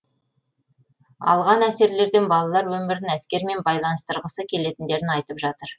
алған әсерлерден балалар өмірін әскермен байланыстырғысы келетіндерін айтып жатыр